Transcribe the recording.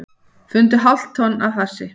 Fundu hálft tonn af hassi